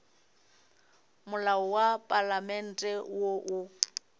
molao wa palamente wo o